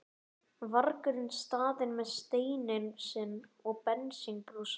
vargurinn staðið með steininn sinn og bensínbrúsa.